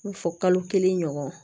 I b'a fɔ kalo kelen ɲɔgɔn